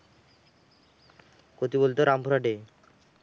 কোথায় বলত? রামপুরহাটে।